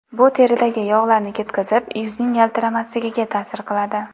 Bu teridagi yog‘larni ketkizib, yuzning yaltiramasligiga ta’sir qiladi.